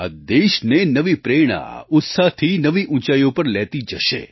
આ દેશને નવી પ્રેરણા ઉત્સાહથી નવી ઊંચાઈઓ પર લેતી જશે